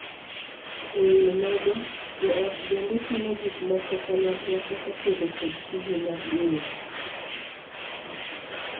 E wii mago, joot bende timo gikmoko kanyakla kaka tedo kod tije mag ii ot.